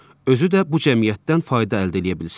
Özü də bu cəmiyyətdən fayda əldə eləyə bilsin.